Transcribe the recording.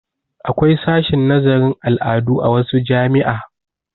Akwai sashin nazarin al'adu a wasu jami'a.